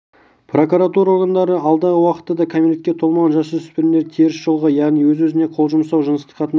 прокуратура органдары алдағы уақытта да кәмелетке толмаған жасөспірімдерді теріс жолға яғни өз-өзіне қол жұмсау жыныстық қатынас